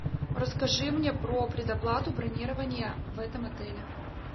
расскажи мне про предоплату бронирования в этом отеле